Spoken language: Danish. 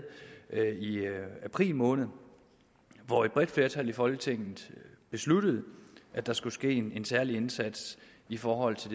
i april måned hvor et bredt flertal i folketinget besluttede at der skulle ske en særlig indsats i forhold til